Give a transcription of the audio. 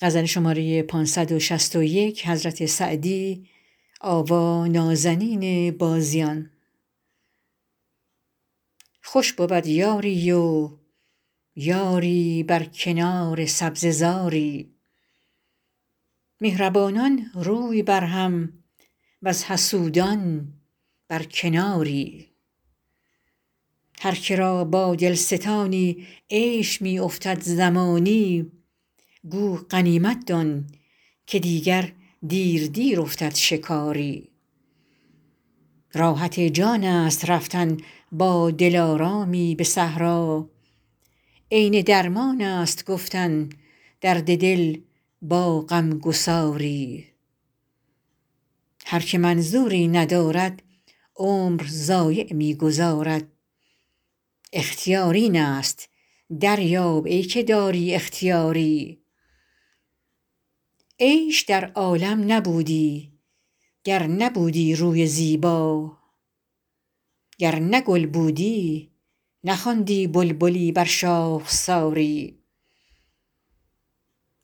خوش بود یاری و یاری بر کنار سبزه زاری مهربانان روی بر هم وز حسودان بر کناری هر که را با دل ستانی عیش می افتد زمانی گو غنیمت دان که دیگر دیر دیر افتد شکاری راحت جان است رفتن با دلارامی به صحرا عین درمان است گفتن درد دل با غم گساری هر که منظوری ندارد عمر ضایع می گذارد اختیار این است دریاب ای که داری اختیاری عیش در عالم نبودی گر نبودی روی زیبا گر نه گل بودی نخواندی بلبلی بر شاخساری